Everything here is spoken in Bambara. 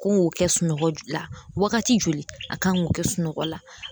Ko kɛ sunɔgɔ de la wagati joli a kan k'o kɛ sunɔgɔ la